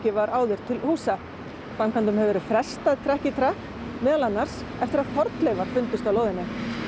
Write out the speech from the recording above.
var áður til húsa framkvæmdum hefur verið frestað trekk í trekk meðal annars eftir að fornleifar fundust á lóðinni